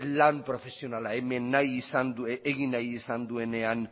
lan profesionala hemen egin nahi izan duenean